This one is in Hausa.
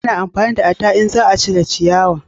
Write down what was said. A na amfani da adda in za a cire ciyawa